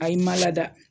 Ayi n ma lada